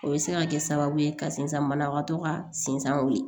O bɛ se ka kɛ sababu ye ka sinzan banabagatɔ ka sensanw ye